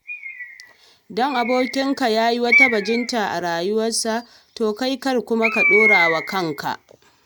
Kada ka damu, idan abokinka ya yi arziki sosai, kai kuma kana ta fama da rayuwa.